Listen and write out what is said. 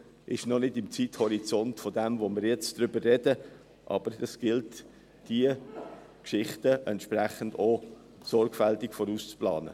Es betrifft noch nicht den Zeithorizont, von dem wir jetzt sprechen, aber es gilt, auch diese Dinge sorgfältig vorauszuplanen.